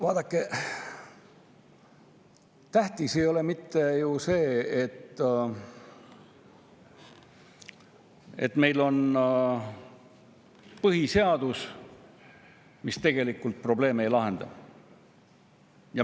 Vaadake, tähtis ei olegi mitte niivõrd see, et meil on põhiseadus, kui see põhiseadus tegelikult probleeme ei lahenda.